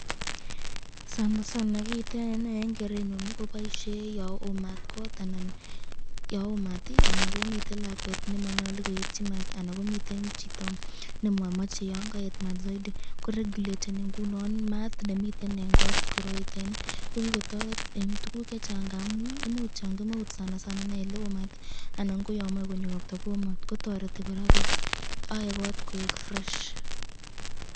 Kiiteni eng kerenyun ii kobaisye yan oo maat kot, anan komiten lakwet nemanyalu koetyi maat, anan komiten chito nemamache yon kaet maat zaidi , ko reguleteni ingunon maat nemiten eng kot koroiteni, ko kikotoret eng tukuk chechang ngamun imuch yon kemeut anan koyamache konyo robta Koo maat kotoreti ,ae kot koek fresh.